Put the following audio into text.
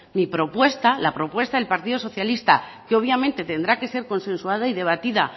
mi propuesta la propuesta del partido socialista que obviamente tendrá que ser consensuada y debatida